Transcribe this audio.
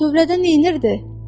Tövlədən neynirdin?